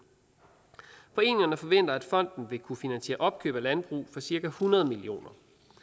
foreningerne forventer at fonden vil kunne finansiere opkøb af landbrug for cirka hundrede million